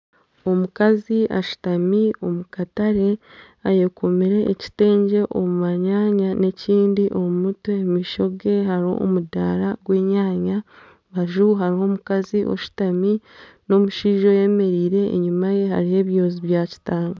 Omukazi ashutami omukatare ayekomire ekitengye omu manyaanya n'ekindi omu mutwe. Omu maisho ge hariho omudaara gw'enyaanya. aha rubaju hariho omukazi ashutami n'omushaija oyemereire enyima ye hariho ebyozi bya kitanga.